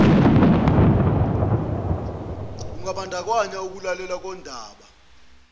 kungambandakanya ukulalelwa kondaba